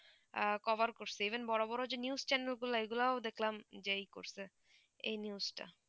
cover করছে even বোরো বোরো যে news channel গুলু এই গুলু দেখলাম যে ই করছে এই news তা